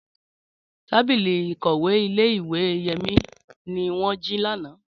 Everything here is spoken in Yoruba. Tábìlì ìkọ̀wé ìle-ìwe Yemi ni wọn ji ni ana.